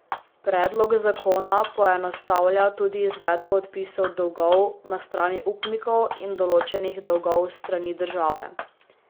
Predlog zakona poenostavlja tudi izvedbo odpisov dolgov na strani upnikov in določenih dolgov s strani države.